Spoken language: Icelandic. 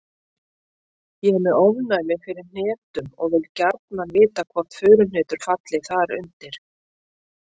Ég er með ofnæmi fyrir hnetum og vil gjarnan vita hvort furuhnetur falli þar undir.